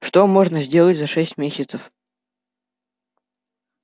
что можно сделать за шесть месяцев